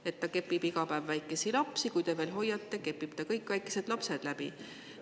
–, et ta kepib iga päev väikesi lapsi, kui te veel hoiate, kepib ta kõik väikesed lapsed läbi.